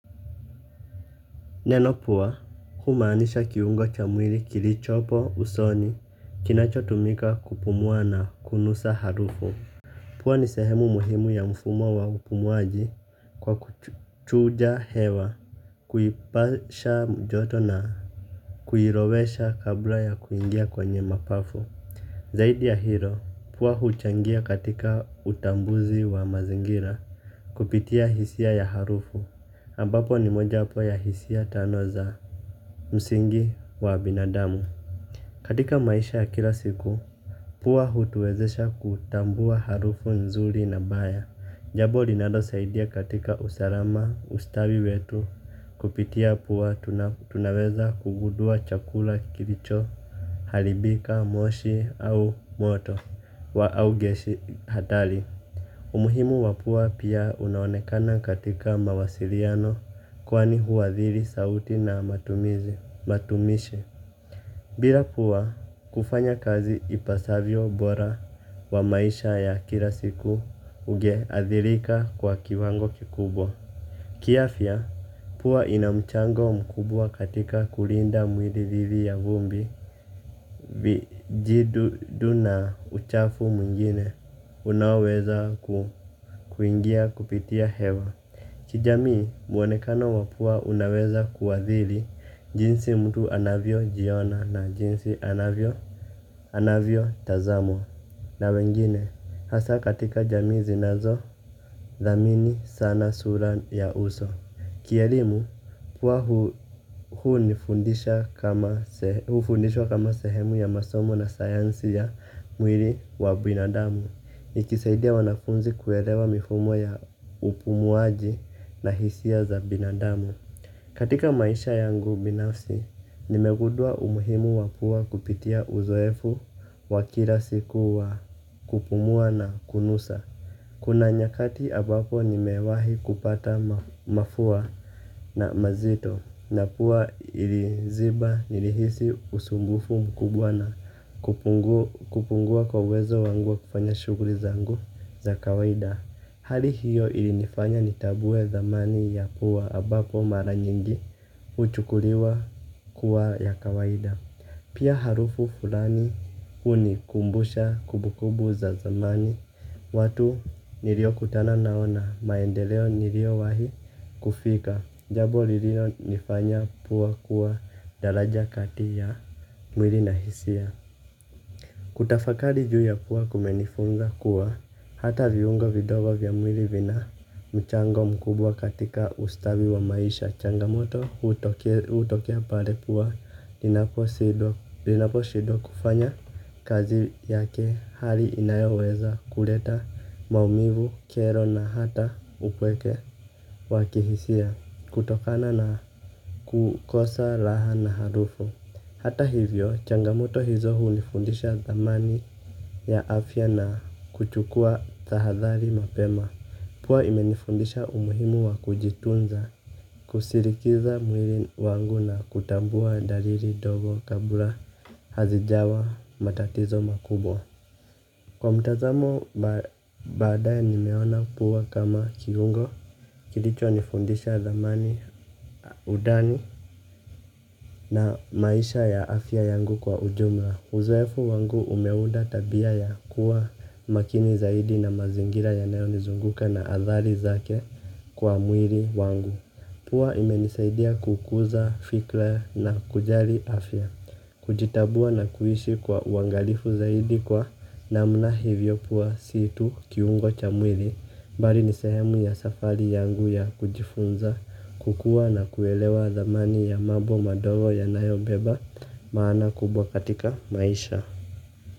Neno pua humaanisha kiungo cha mwili kilichopo usoni kinacho tumika kupumuwa na kunusa harufu. Pua ni sehemu muhimu ya mfumo wa upumuaji kwa kuchuja hewa. Kuipasha joto na kuirovesha kabla ya kuingia kwenye mapafu. Zaidi ya hilo pua huchangia katika utambuzi wa mazingira kupitia hisia ya harufu ambapo ni mojawapo ya hisia tano za msingi wa binadamu. Katika maisha ya kila siku pua hutuwezesha kutambua harufu nzuri na baya. Jambo linalo saidia katika usalama ustawi wetu. Kupitia pua tunaweza kugundua chakula kilicho haribika, moshi au moto. Wa au gesi hatari. Umuhimu wa pua pia unaonekana katika mawasiliano. Kwani huadhiri sauti na matumizi. Matumishe bila pua kufanya kazi ipasavyo bora wa maisha ya kila siku unge athirika kwa kiwango kikubwa. Ki afya pua ina mchango mkubwa katika kulinda mwili dhidi ya vumbi vijidudu na uchafu mwingine unaoweza kuingia kupitia hewa. Kijamii mwonekano wa pua unaweza kuadhiri jinsi mtu anavyo jiona na jinsi anavyo tazamwa na wengine hasa katika jamii zinazo dhamini sana sura ya uso. Kielimu huwa hufundisha kama sehemu ya masomo ya sayansi ya mwili wa binadamu. Nikisaidia wanafunzi kuelewa mifumo ya upumuaji na hisia za binadamu. Katika maisha yangu binafsi, nimegundua umuhimu wa pua kupitia uzoefu wa kila siku wa kupumua na kunusa. Kuna nyakati ambapo nimewahi kupata mafua na zito na pua iliziba nilihisi usumbufu mkubwa na ku kupungua kwa wezo wangu wa kufanya shughuli zangu za kawaida hali hiyo ilifanya nikajua dhamani. Pia harufu fulani hunikumbusha kumbukumbu za zamani. Watu nilio kutana nao na maendeleo nilio wahi kufika. Jambo lilio nifanya pua kuwa dalaja kati ya mwili na hisia. Kutafakari juu ya pua kumenifunga kuwa hata viungo vidogo vya mwili vina mchango mkubwa katika ustawi wa maisha changamoto hutokea pale pua inaposhindwa kufanya kazi yake hali inayoweza kuleta maumivu tele na hata upweke wa kihisia kutokana na kukosa raha na harufu. Hata hivyo changamoto hizo hunifundisha dhamani ya afya na kuchukua tahadhari mapema pua inanifundisha umuhimu wa baadaye nimeona pua kama kiungo kilicho nifundisha zamani udani na maisha ya afya yangu kwa ujumla. Uzoefu wangu umeunda tabia ya kuwa makini zaidi na mazingira yanayo nizunguka na athari zake kwa mwili wangu. Pua imenisaidia kukuza fikra na kujali afya. Kujitambua na kuishi kwa uangalifu zaidi kwa namna hivyo pua si tu kiungo cha mwili. Mbali ni sehemu ya safari yangu ya kujifunza kukua na kuelewa dhamani ya mambo madogo yanayobeba maana kubwa katika maisha.